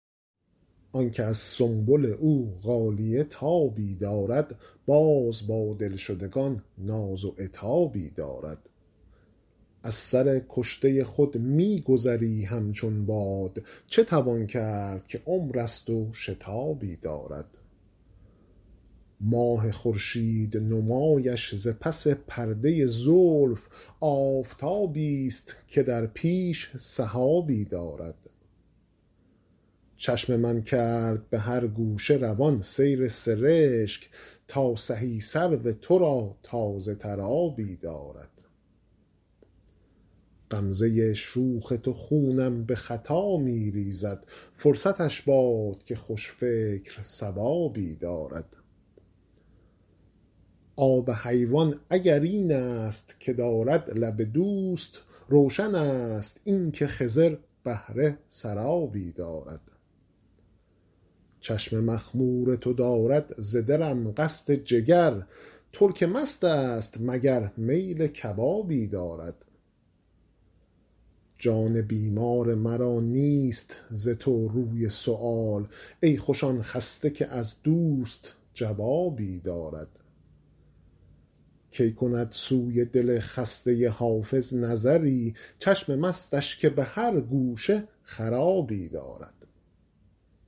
آن که از سنبل او غالیه تابی دارد باز با دلشدگان ناز و عتابی دارد از سر کشته خود می گذری همچون باد چه توان کرد که عمر است و شتابی دارد ماه خورشید نمایش ز پس پرده زلف آفتابیست که در پیش سحابی دارد چشم من کرد به هر گوشه روان سیل سرشک تا سهی سرو تو را تازه تر آبی دارد غمزه شوخ تو خونم به خطا می ریزد فرصتش باد که خوش فکر صوابی دارد آب حیوان اگر این است که دارد لب دوست روشن است این که خضر بهره سرابی دارد چشم مخمور تو دارد ز دلم قصد جگر ترک مست است مگر میل کبابی دارد جان بیمار مرا نیست ز تو روی سؤال ای خوش آن خسته که از دوست جوابی دارد کی کند سوی دل خسته حافظ نظری چشم مستش که به هر گوشه خرابی دارد